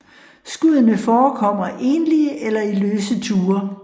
Skuddene forekommer enlige eller i løse tuer